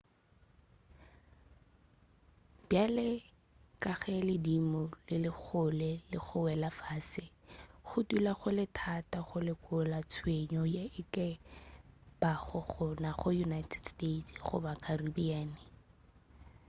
bjale ka ge ledimo le le kgole le go wela fase go dula go le thata go lekola tshenyo ye e ka bago gona go united states goba caribbean